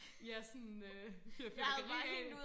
ja sådan øh fyrer fyrværkeri af